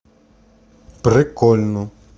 прикольно